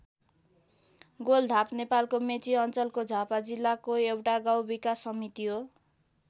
गोलधाप नेपालको मेची अञ्चलको झापा जिल्लाको एउटा गाउँ विकास समिति हो।